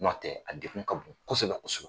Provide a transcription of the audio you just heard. N'o tɛ a degun ka bon kosɛbɛ kosɛbɛ.